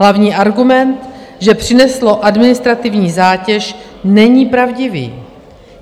Hlavní argument, že přineslo administrativní zátěž, není pravdivý.